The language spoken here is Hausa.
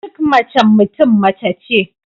Duk macen Mutum mace ce